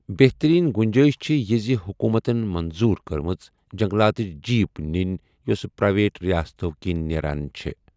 بہترٛیٖن گُنٛجٲیِش چھَ یہِ زِ حکوٗمتَن منظوٗر کٔرمٕژ جنگلاتٕچ جیپ نِنۍ یوٚس پرائیویٹ رِیاستَو کِنۍ نٮ۪ران چھَ ۔